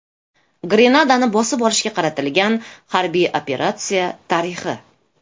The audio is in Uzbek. Grenadani bosib olishga qaratilgan harbiy operatsiya tarixi.